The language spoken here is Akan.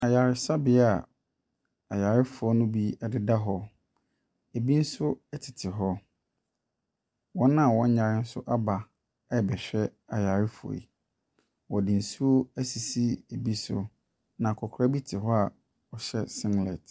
Ayaresabea a ayarefoɔ no bi ɛdeda hɔ, ebi nso ɛtete hɔ. Wɔn a wɔnnyare nso aba rebɛhwɛ ayarefoɔ yi. Wɔde nsuo ɛsisi ebi so. Na akokora bi te hɔ a ɔhyɛ singlet.